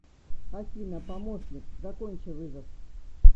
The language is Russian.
афина помощник закончи вызов